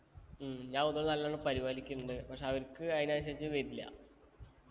ഉം ഞാൻ ഒന്നും കൂടി നല്ലോണം പരിപാലിക്കിണ്ട് പക്ഷെ അവർക്ക് അതിനനുസരിച്ച് വരില്ല